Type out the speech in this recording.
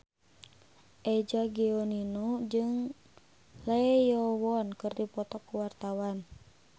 Eza Gionino jeung Lee Yo Won keur dipoto ku wartawan